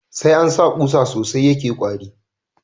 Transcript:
Sai ansa kusa sosai sh yake kwari